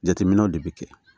Jateminɛw de bɛ kɛ